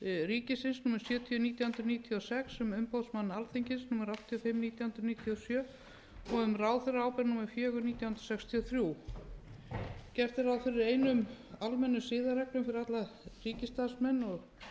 ríkisins númer sjötíu nítján hundruð níutíu og sex um umboðsmann alþingis númer áttatíu og fimm nítján hundruð níutíu og sjö og um ráðherraábyrgð númer fjögur nítján hundruð sextíu og þrjú gert er ráð fyrir einum almennum siðareglum fyrir alla ríkisstarfsmenn og